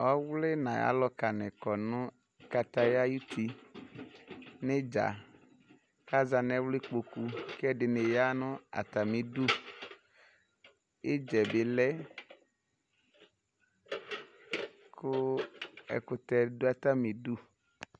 Ɔwlɩ nʊ ayʊ alʊkanɩ kɔ nʊ kataya ayʊtɩ nʊ ɩdza kʊ aza nʊ ɛwlɩkpokʊ kʊ ɛdɩnɩ yanʊ atamɩdʊ ɩdzɛbɩ lɛ kʊ ɛkʊtɛ yanʊ atamɩdʊ